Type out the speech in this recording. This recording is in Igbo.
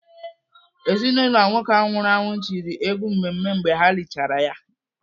Ezinaụlọ nwoke ahụ nwụrụ anwụ tiri egwu mmemme mgbe ha lichara ya.